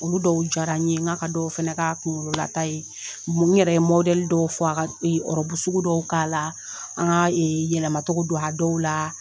Olu dɔw jara n ye, n ka dɔw fana ka kunkololata ye, n yɛrɛ ye dɔw fɔ a ka sugu dɔw k'a la, an ka yɛlɛma togo don a dɔw la